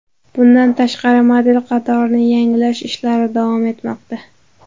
Bundan tashqari, model qatorini yangilash ishlari davom etmoqda.